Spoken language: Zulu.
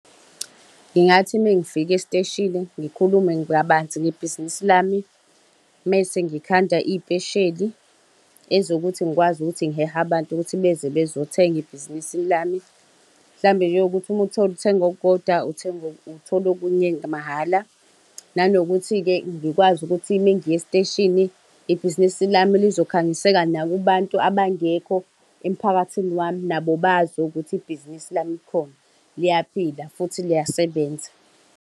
Ngigathi mengifika esiteshini ngikhulume kabanzi ngebhizinisi lami. Mese ngikhanda iy'pesheli ezokuthi ngikwazi ukuthi ngihehe abantu ukuthi beze bezothenga ebhizinisini lami. Mhlampe-ke ukuthi uthenga okukodwa uthola okunye mahhala. Nanokuthi-ke ngikwazi ukuthi mengiya esiteshini, ibhizinisi lami lizokhangiseka nakubantu abangekho emphakathini wami nabo bazi ukuthi ibhizinisi lami likhona, liyaphila, futhi liyasebenza.